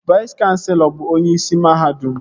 Vais kanselọ bụ onyeisi mahadum